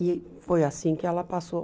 E foi assim que ela passou.